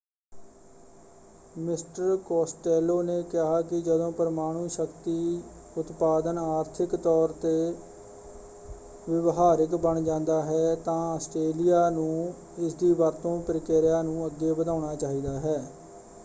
Mister Costello ਨੇ ਕਿਹਾ ਕਿ ਜਦੋ ਪਰਮਾਣੂ ਸ਼ਕਤੀ ਉਤਪਾਦਨ ਆਰਥਿਕ ਤੌਰ ਉੱਤੇ ਵਿਵਹਾਰਿਕ ਬਣ ਜਾਂਦਾ ਹੈ ਤਾਂ ਆਸਟ੍ਰੇਲਿਆ ਨੂੰ ਇਸਦੀ ਵਰਤੋਂ ਪ੍ਰਕਿਰਿਆ ਨੂੰ ਅੱਗੇ ਵਧਾਉਣਾ ਚਾਹੀਦਾ ਹੈ।